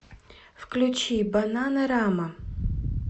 включи бананарама